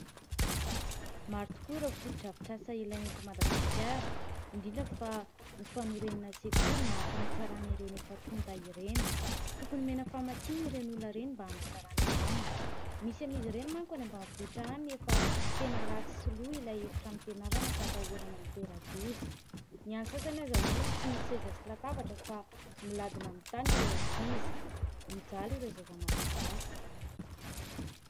Maro tokoa ireo fotodrafitrasa ilaina eto Madagasikara, indrindra fa, ny fanorenana sekoly na fanatsarana ireny efa tonta ireny. Tokony omena famatsiana ireny olona ireny, mba anatsarana izany. Misy amin'izy ireny manko any ambanivohitra any efa, tena ratsy sy lo ilay efitrano fianarana; ka atahorana hitera-doza. Ny an'ny sasany aza moa, tsy misy seza sy latabatra fa, miladina amin'ny tany ireo ankizy. Mijaly ireo zaza Malagasy.